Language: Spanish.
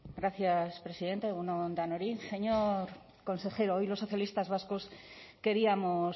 gracias presidenta egun on denoi señor consejero hoy los socialistas vascos queríamos